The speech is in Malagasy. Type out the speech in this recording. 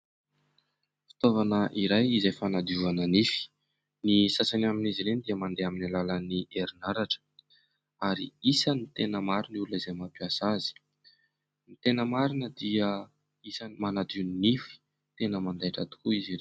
Fitaovana iray izay fanadiovana nify. Ny sasany amin'izy ireny dia mandeha amin'ny alalan'ny herinaratra ary isan'ny tena maro ny olona izay mampiasa azy. Ny tena marina dia isan'ny manadio ny nify tena mandaitra tokoa izy.